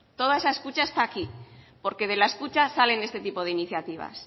toda esa escucha está aquí porque de la escucha salen este tipo de iniciativas